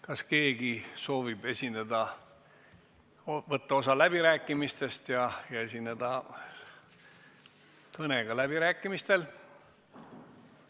Kas keegi soovib võtta osa läbirääkimistest ja esineda kõnega läbirääkimistel?